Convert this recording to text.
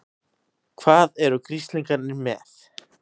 HVAÐ ERU GRISLINGARNIR MEÐ?